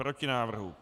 Proti návrhu.